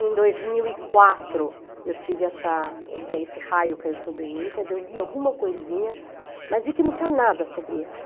Em dois mil e quatro, eu tive essa ideia, esse raio caiu sobre mim, quer dizer, eu li alguma coisinha, mas vi que não tinha nada sobre ela.